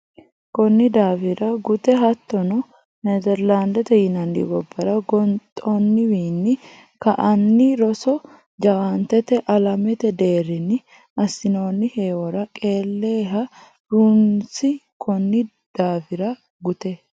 Konni daafira gute Hattono Nezerlaandete yinanni gobbara goxinowiinni ka anni roso jawaantete alamete deerrinni assinonni heewora qeele ha runsi Konni daafira gute.